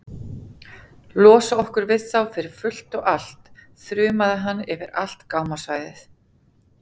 Losa okkur við þá fyrir fullt og allt, þrumaði hann yfir allt gámasvæðið.